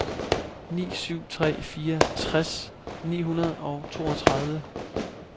ni syv tre fire tres ni hundrede og toogtredive